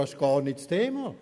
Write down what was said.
Das ist gar nicht das Thema.